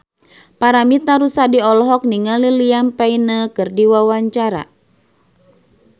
Paramitha Rusady olohok ningali Liam Payne keur diwawancara